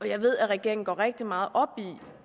jeg ved at regeringen går rigtig meget op i